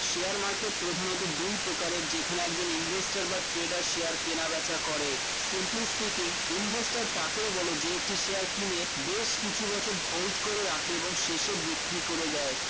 share market প্রধানত দুই প্রকারের যেখানে একজন investor বা trader কেনাবেচা করে simply speaking investor তাকেই বলে যে একটি share কিনে বেশ কিছু বছর hold করে রাখে এবং শেষে বিক্রি করে দেয়